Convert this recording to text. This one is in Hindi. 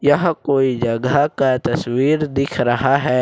यह कोई जगह का तस्वीर दिख रहा है।